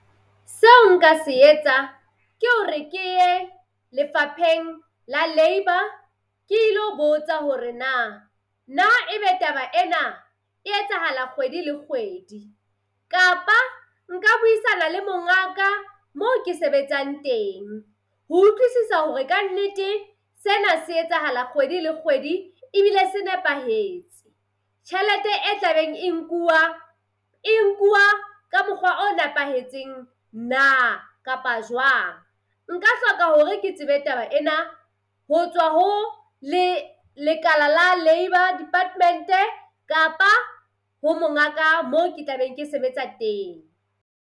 Seo nka se etsa ke hore ke ye lefapheng la labour ke ilo botsa hore na, na ebe taba ena e etsahala kgwedi le kgwedi. Kapa nka buisana le mongaka moo ke sebetsang teng ho utlwisisa hore kannete sena se etsahala kgwedi le kgwedi ebile se nepahetse. Tjhelete e tlabeng e nkuwa, e nkuwa ka mokgwa o nepahetseng na kapa jwang. Nka hloka hore ke tsebe taba ena ho tswa ho le lekala la labour department-e kapa ho mongaka mo ke tla be ke sebetsa teng.